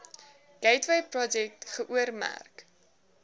gateway projek geoormerk